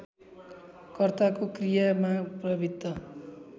कर्ताको क्रियामा प्रवृत्त